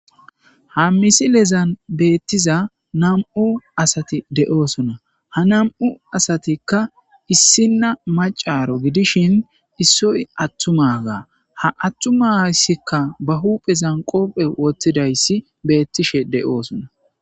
Ha misilezan betiza nam'u indoy de'sona ha nam'u asatika issinaacaro gidishin issoy atumaga ha atuma ha atumazika ba huphen kope wothidays betishe de'es